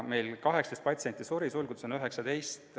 Meil suri 18 patsienti, sulgudes on märgitud 19.